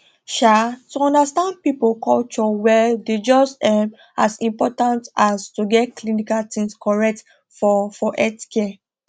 um to understand people culture well dey just um as important as to get clinical things correct for for healthcare